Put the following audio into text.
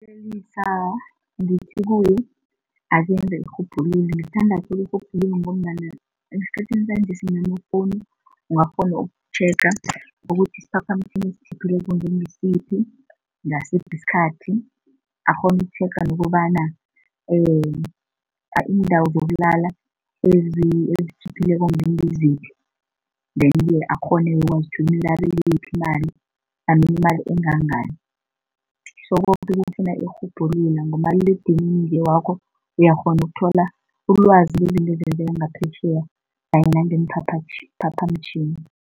Ngithi kuye akenze irhubhululo ngombana esikhathini sanjesi namafowunu ungakghona ukutjhega ukuthi isiphaphamtjhini esitjhiphileko ngengisiphi, ngasiphi isikhathi, akghone ukutjhega nokobana iindawo zokulala ezitjhiphileko ngiziphi then ke akghone ukwazi imali imali engangani. So koke kufuna irhubhululo ngomaliledinini wakho uyakghona ukuthola ulwazi ngezinto ezenzeka ngaphetjheya kanye nangeemphaphamtjhini.